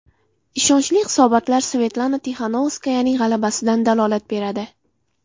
Ishonchli hisobotlar Svetlana Tixanovskayaning g‘alabasidan dalolat beradi.